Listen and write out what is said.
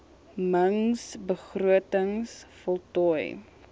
mings begrotings voltooi